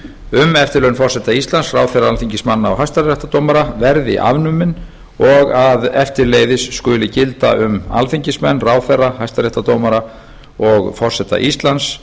um eftirlaun forseta íslands ráðherra alþingismanna og hæstaréttardómara verði afnumin og að eftirleiðis skuli gilda um alþingismenn ráðherra hæstaréttardómara og forseta íslands